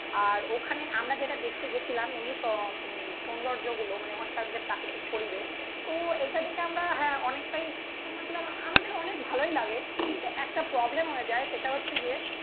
আর ওখানে আমরা যেটা দেখতে গেছিলাম এই যে সৌন্দর্য গুলো, মানে ওখানকার যে প্রাকৃতিক পরিবেশ তো এটা দেখে আমরা হ্যাঁ অনেকটাই আমাদের অনেক ভালোই লাগে. কিন্তু একটা প্রবলেম হয়ে যায় সেটা হচ্ছে গিয়ে